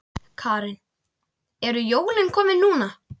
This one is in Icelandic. Karen: En eru jólin komin núna?